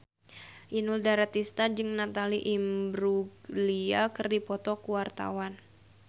Inul Daratista jeung Natalie Imbruglia keur dipoto ku wartawan